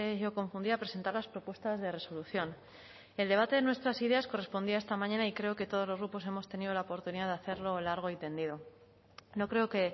yo confundida presentar las propuestas de resolución el debate de nuestras ideas correspondía a esta mañana y creo que todos los grupos hemos tenido la oportunidad de hacerlo largo y tendido no creo que